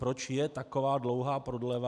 Proč je taková dlouhá prodleva?